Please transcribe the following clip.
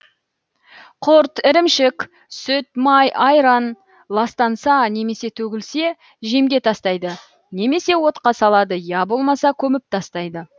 құрт ірімшік сүт май айран ластанса немесе төгілсе жемге тастайды немесе отқа салады я болмаса көміп тастайды